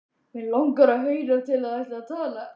Mig langar að heyra um hvað þær tala.